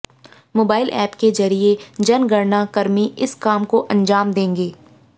mobile app के जरिए जनगणना कर्मी इस काम को अंजाम देंगे